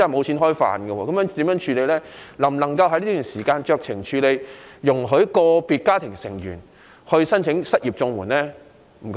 社署能否在這段時間酌情處理，容許以個人為單位申請失業綜援？